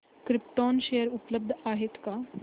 krypton share उपलब्ध आहेत का